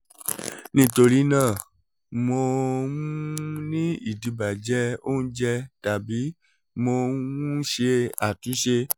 nitorinaa mo um ni idibajẹ ounjẹ tabi mo um n ṣe atunṣe?